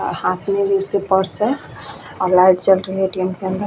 और हाथ में भी उसके पर्स है और लाइट चल रही है एटीएम के अंदर --